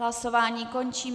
Hlasování končím.